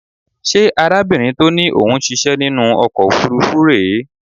Ṣé arábìnrin tó ní ó ń ṣíṣẹ́ nínú ọkọ̀ òfuurufú rè é?